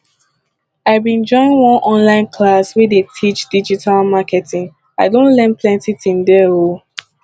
i bin join one online class wey dey teach digital marketing i don learn plenty tin there o